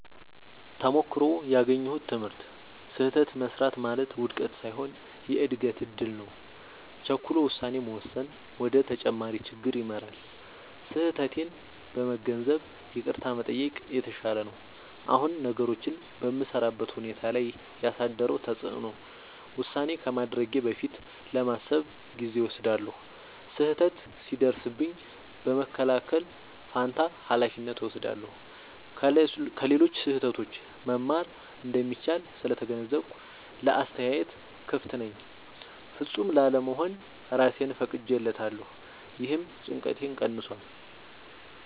ተሞክሮው ያገኘሁት ትምህርት፦ · ስህተት መሥራት ማለት ውድቀት ሳይሆን የእድገት እድል ነው። · ቸኩሎ ውሳኔ መወሰን ወደ ተጨማሪ ችግር ይመራል። · ስህተቴን በመገንዘብ ይቅርታ መጠየቅ የተሻለ ነው። አሁን ነገሮችን በምሠራበት ሁኔታ ላይ ያሳደረው ተጽዕኖ፦ · ውሳኔ ከማድረጌ በፊት ለማሰብ ጊዜ እወስዳለሁ። · ስህተት ሲደርስብኝ በመከላከል ፋንታ ኃላፊነት እወስዳለሁ። · ከሌሎች ስህተት መማር እንደሚቻል ስለተገነዘብኩ ለአስተያየት ክፍት ነኝ። · ፍጹም ላለመሆን እራሴን ፈቅጄለታለሁ — ይህም ጭንቀቴን ቀንሷል።